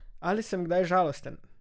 Ali sem kdaj žalosten?